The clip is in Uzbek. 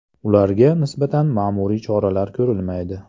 Ularga nisbatan ma’muriy choralar ko‘rilmaydi.